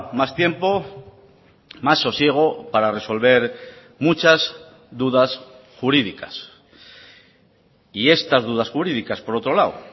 más tiempo más sosiego para resolver muchas dudas jurídicas y estas dudas jurídicas por otro lado